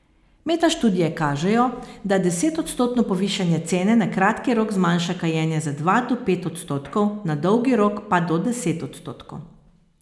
Metaštudije kažejo, da desetodstotno povišanje cene na kratki rok zmanjša kajenje za dva do pet odstotkov, na dolgi rok pa do deset odstotkov.